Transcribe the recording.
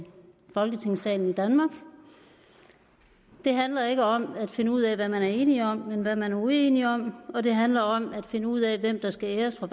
i folketingssalen i danmark det handler ikke om at finde ud af hvad man er enige om men hvad man er uenige om og det handler om at finde ud af hvem der skal æres for